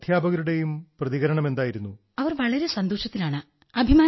തെയ് were so happy and they were so proud sir